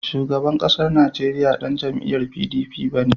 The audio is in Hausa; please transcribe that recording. Shugaban ƙasar Najeriya ba ɗan jam'iyar PDP ba ne.